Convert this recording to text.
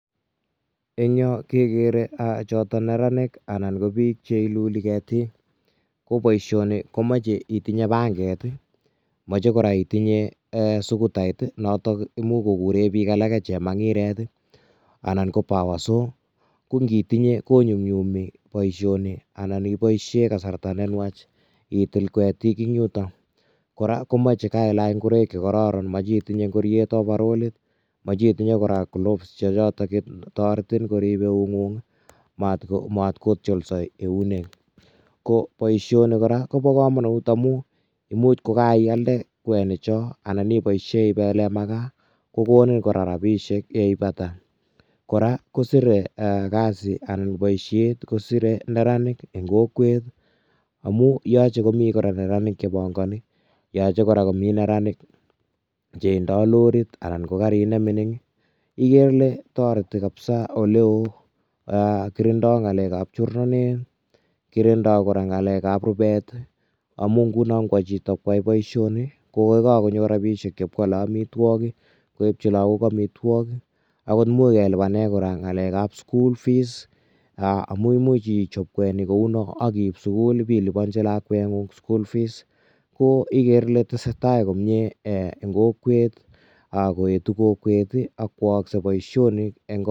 Eng Yoon kegere chotoon neranik anan ko biik che ilulii ketiik ko boishaan nii komachei itinyei pangeet ii ,machei kora itinyei sukutait notoon imuuch koguren biik alake chemangireet ii anan ko powerso ko ngitinyei ko nyumnyumi boisionik kiboisien kasarta ne nwaach itil ketiik en yutoon kora komache komaach ingoraik che kororon machei itinyei ngoriet overallit machei itinyei kora Gloves che chotoon taretiin koriib eunguung ii maat ko tiosal eunek ko boisien nii kora kobaa kamanuut amuun imuuch kogaiyaldee kwenik choon anan ko kaibasheen ibelen makaa kogonin kora rapisheek yeipata kora kisirei kasiit boisiet kisirei neranik en kokwet amuun yachei kora komii neranik che pangani ,yachei kora komii neranik che indaa roriit anan ko gariit nemining igere kabisa Ile taretii ole wooh, kirindaa ngalek ab chornateet , kirindaa kora ngalek ab rupeet amuun ikwaa chitoo koyai boisiet ko ye kagonyoor rapisheek ibee kwale amitwagiik koipchii lagook amitwagiik akoot ndamuuch kora kelupaneen ngalek ab school fees amuu imuuch ichaaap kwenik kou noon ak kiip kwenik kobaa sugul ibelupanjiin lakwet nguung school fees, igere Ile tesetai komyei en kokwet ak ko ayagis boisionik.